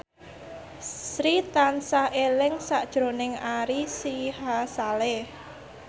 Sri tansah eling sakjroning Ari Sihasale